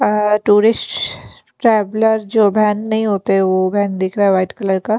अ tourist traveller जो व्यान नहीं होते वो बहन दिख रहा है व्हाइट कलर का--